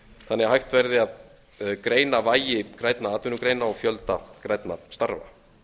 þannig að hægt verði að greina vægi hreinna atvinnugreina og fjölda grænna starfa